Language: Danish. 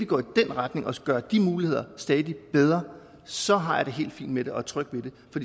går i den retning og gør de muligheder stadig bedre så har jeg det helt fint med det og er tryg ved det